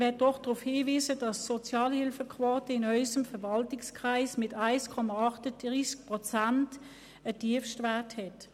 Ich möchte darauf hinweisen, dass die Sozialhilfequote in unserem Verwaltungskreis mit 1,38 Prozent einen Tiefstwert aufweist.